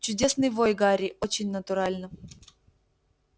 чудесный вой гарри очень натурально